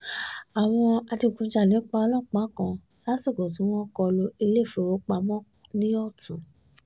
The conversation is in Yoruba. àwọn adigunjalè pa ọlọ́pàá kan lásìkò tí wọ́n kọ lu iléèfowópamọ́ ní ọ̀tún